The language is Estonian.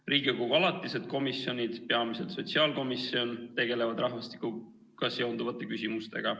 Riigikogu alatised komisjonid, peamiselt sotsiaalkomisjon, tegelevad rahvastikuga seonduvate küsimustega.